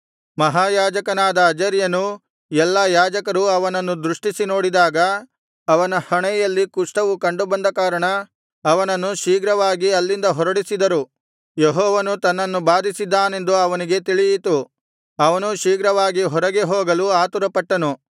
ಮಹಾಯಾಜಕನಾದ ಅಜರ್ಯನೂ ಎಲ್ಲಾ ಯಾಜಕರೂ ಅವನನ್ನು ದೃಷ್ಟಿಸಿ ನೋಡಿದಾಗ ಅವನ ಹಣೆಯಲ್ಲಿ ಕುಷ್ಠವು ಕಂಡುಬಂದ ಕಾರಣ ಅವನನ್ನು ಶೀಘ್ರವಾಗಿ ಅಲ್ಲಿಂದ ಹೊರಡಿಸಿದರು ಯೆಹೋವನು ತನ್ನನ್ನು ಬಾಧಿಸಿದ್ದಾನೆಂದು ಅವನಿಗೆ ತಿಳಿಯಿತು ಅವನೂ ಶೀಘ್ರವಾಗಿ ಹೊರಗೆ ಹೋಗಲು ಆತುರಪಟ್ಟನು